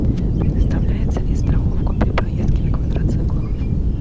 предоставляется ли страховка при поездке на квадроциклах